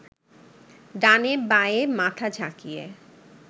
ডানে বায়ে মাথা ঝাঁকিয়ে